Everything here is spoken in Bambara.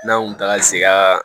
N'an kun taga segaa